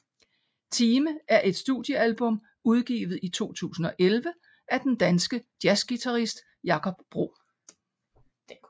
Time er et studiealbum udgivet i 2011 af den danske jazzguitarist Jakob Bro